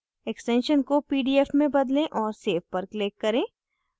extension को pdf में बदलें और save पर click करें